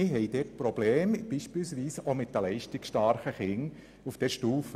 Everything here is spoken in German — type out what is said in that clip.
Wir haben auch Probleme mit den leistungsstarken Kindern auf dieser Stufe.